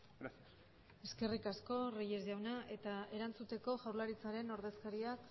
gracias eskerrik asko reyes jauna eta erantzuteko jaurlaritzaren ordezkariak